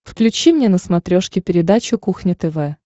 включи мне на смотрешке передачу кухня тв